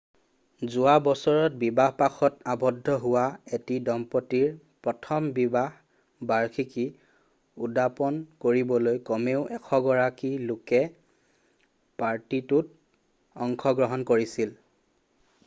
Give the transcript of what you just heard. যোৱা বছৰত বিবাহপাশত আবদ্ধ হোৱা এটি দম্পতীৰ প্ৰথম বিবাহ বাৰ্ষিকী উদাপন কৰিবলৈ কমেও 100 গৰাকী লোকে পাৰ্টিটোত অংশগ্ৰহণ কৰিছিল